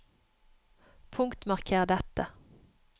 Punktmarker dette